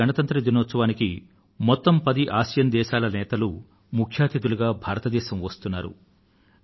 ఈసారి గణతంత్ర దినోత్సవానికి మొత్తం పది ఆసియాన్ ఆసియాన్ సభ్యత్వ దేశాల నేతలూ ముఖ్య అతిథులుగా భారతదేశం వస్తున్నారు